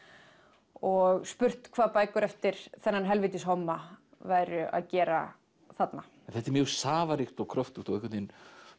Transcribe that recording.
og spurt hvað bækur eftir þennan helvítis homma væru að gera þarna þetta er mjög safaríkt og kröftugt og einhvern veginn